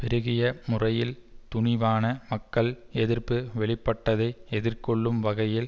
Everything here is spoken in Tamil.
பெருகிய முறையில் துணிவான மக்கள் எதிர்ப்பு வெளிப்பட்டதை எதிர்கொள்ளும் வகையில்